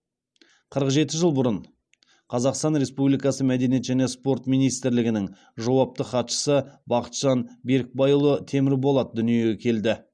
қырық жеті жыл бұрын қазақстан республикасы мәдениет және спорт министрлігінің жауапты хатшысы бақытжан берікбайұлы темірболат дүниеге келді